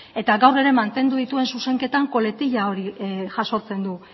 eta gaur ere mantendu dituen zuzenketan koletilla hori jasotzen du